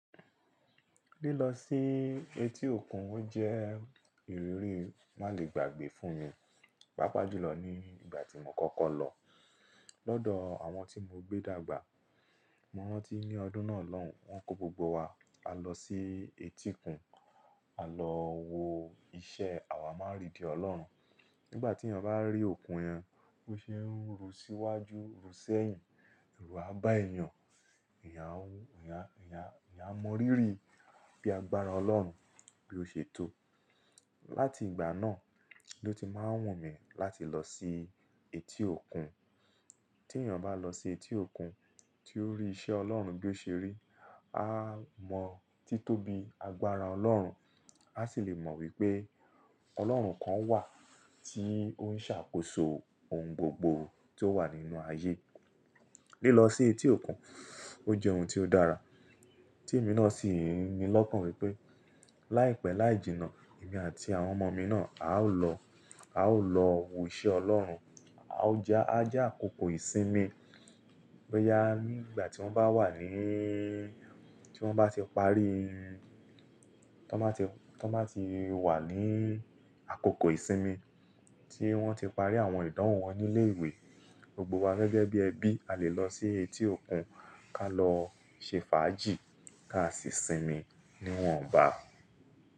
Lílọ sí ii etí òkun ó jẹ́ ìrírí má le gbàgbé fún mi, pàápàá jùlọ ní ìgbà tí mo kọ́kọ́ lọ. Lọ́dọ̀ àwọn tí mo gbé dàgbà, mo rántí ní ọdún náà lọ́n, wọ́n kó gbogbo wa a lọ sí etíkun, a lọ wo iṣẹ́ àwamáàridì Ọlọ́run. Nígbà tí èyàn bá rí òkun yẹn, bó ṣe é ń ru síwájú, ru sẹ́yìn, eru á bá èyàn, eyan un, eyan a, èyan n á mọ rírì bí agbára Ọlọ́run bí ó ṣe tó. Láti ìgbà náà ló ti máa wùnmí láti lọ sí etí òkun. Tí èyàn bá lọ sí etí òkun, tí ó rí iṣẹ́ Ọlọ́run bí ó ṣe rí, á mọ títóbi agbára Ọlọ́run, a sì le mọ wípé Ọlọ́run kan wà tí ó ń ṣàkóso ohun gbogbo tí ó wà nínú ayé. Lílọ sí etí òkun ó jẹ́ ohun tí ó dára tí èmi náà sì ń ni lọ́kàn wípé láìpẹ́ láì jìnnà, èmi àti àwọn ọmọ mi náà a ó lọ, a ó lọ wo iṣẹ́ Ọlọ́run, a ó ja à ja àkókò ìsinmi. Boyà ní ìgbà tí wọ́n bá wà níí, tí wọ́n bá ti parí ii, tí wọ́n bá ti wà ní àkókò ìsinmi tí wọ́n ti parí àwọn ìdánwò wọn ní ilé ìwé, gbogbo wa gẹ́gẹ́ bí ẹbí a lè lọ sí etí òkun ká lọ ṣe fàájì ká sì sinmi níwọ̀nba.